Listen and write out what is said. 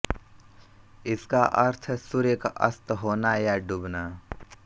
इसका अर्थ है सूर्य का अस्त होना या डूबना